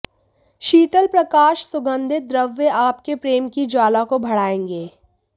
शीतल प्रकाश सुगंधित द्रव्य आपके प्रेम की ज्वाला को बढ़ायेंगे